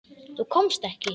Þú komst ekki.